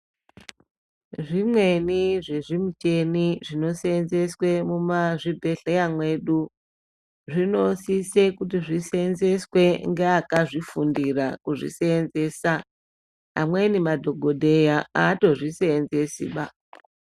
Zvimweni zvezvimicheni zvinoseenzeswe mumazvibhedhleya mwedu. Zvinosise kuti zvisenzeswe ngeakazvifundira kuzvisenzeswa mweni madhogobheya haatozvi senzesiba.